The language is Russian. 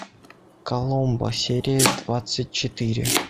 коломбо серия двадцать четыре